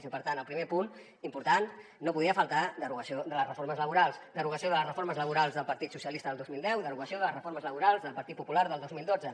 i per tant al primer punt important no podia faltar derogació de les reformes laborals derogació de les reformes laborals del partit socialista del dos mil deu i derogació de les reformes laborals del partit popular del dos mil dotze